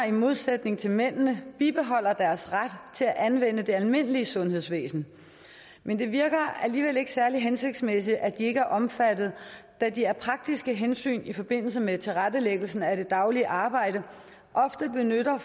i modsætning til mændene bibeholder deres ret til at anvende det almindelige sundhedsvæsen men det virker alligevel ikke særlig hensigtsmæssigt at de ikke er omfattet da de af praktiske hensyn i forbindelse med tilrettelæggelsen af det daglige arbejde ofte benytter